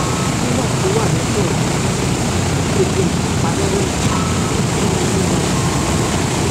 wíwà tó wà lódò wa ní òsán tí gbogbo nǹkan pa róró yẹn mú kí inú wa dùn ganan